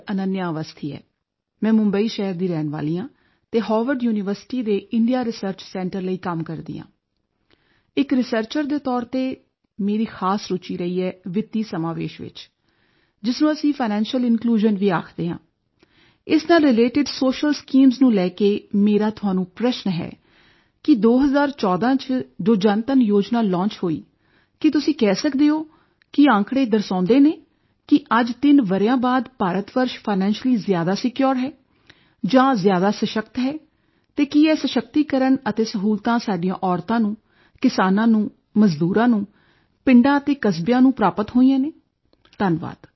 ਅਨੱਨਿਆ ਅਵਸਥੀ ਹੈ ਮੈਂ ਮੁੰਬਈ ਸ਼ਹਿਰ ਦੀ ਰਹਿਣ ਵਾਲੀ ਹਾਂ ਅਤੇ ਹਾਰਵਰਡ ਯੂਨੀਵਰਸਿਟੀ ਦੇ ਇੰਡੀਆ ਰਿਸਰਚ ਸੈਂਟਰ ਲਈ ਕੰਮ ਕਰਦੀ ਹਾਂ ਇੱਕ ਰਿਸਰਚਰ ਦੇ ਤੌਰ ਤੇ ਮੇਰੀ ਖ਼ਾਸ ਰੁਚੀ ਰਹੀ ਹੈ ਵਿੱਤੀ ਸਮਾਵੇਸ਼ ਵਿੱਚ ਜਿਸ ਨੂੰ ਅਸੀਂ ਫਾਈਨੈਂਸ਼ੀਅਲ ਇਨਕਲੂਜ਼ਨ ਇਸ ਨਾਲ ਰੀਲੇਟਿਡ ਸੋਸ਼ੀਅਲ ਸਕੀਮਜ਼ ਨੂੰ ਲੈ ਕੇ ਅਤੇ ਮੇਰਾ ਤੁਹਾਨੂੰ ਪ੍ਰਸ਼ਨ ਇਹ ਹੈ ਕਿ 2014 ਚ ਜੋ ਜਨਧਨ ਯੋਜਨਾ ਲੌਂਚ ਹੋਈ ਕੀ ਤੁਸੀਂ ਕਹਿ ਸਕਦੇ ਹੋ ਕੀ ਅੰਕੜੇ ਦਰਸਾਉਦੇ ਹਨ ਕਿ ਅੱਜ 3 ਵਰਿਆਂ ਬਾਅਦ ਭਾਰਤ ਵਰਸ਼ ਫਾਈਨੈਂਸ਼ੀਅਲੀ ਜ਼ਿਆਦਾ ਸਿਕਿਓਰ ਹੈ ਜਾਂ ਜ਼ਿਆਦਾ ਸਸ਼ਕਤ ਹੈ ਅਤੇ ਕੀ ਇਹ ਸਸ਼ਕਤੀਕਰਨ ਅਤੇ ਸਹੂਲਤਾਂ ਸਾਡੀਆਂ ਔਰਤਾਂ ਨੂੰ ਕਿਸਾਨਾਂ ਨੂੰ ਮਜ਼ਦੂਰਾਂ ਨੂੰ ਪਿੰਡਾਂ ਅਤੇ ਕਸਬਿਆਂ ਨੂੰ ਪ੍ਰਾਪਤ ਹੋਈਆਂ ਹਨ ਧੰਨਵਾਦ